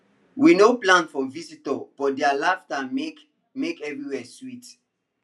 we no plan for visitors but their laughter make make everywhere sweet